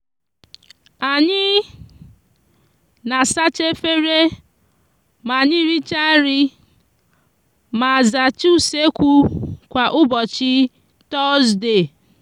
anyi n'asacha efere ma anyi richa nri ma zacha usekwu kwa ubochi tozde.